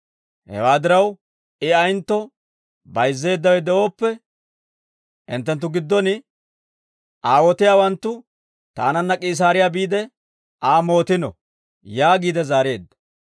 Hewaa diraw, I ayentto bayizzeeddawe de'ooppe, hinttenttu giddon aawotiyaawanttu taananna K'iisaariyaa biide, Aa mootino» yaagiide zaareedda.